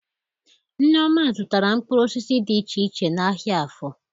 Nneoma zụtara mkpụrụ osisi dị iche iche n'ahịa Áfọ